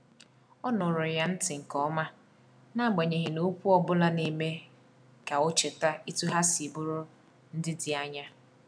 O nụụrụ ya ntị nke ọma, n’agbanyeghị na okwu ọ bụla na-eme ka o cheta etu ha si bụrụ ndị dị anya.